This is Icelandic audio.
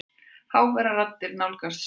Háværar raddir nálgast stofuna.